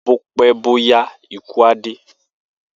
Bó pẹ bó yá ikù á dé